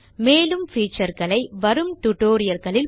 மேலும் featureகளை வரும் tutorialகளில் பார்க்கலாம்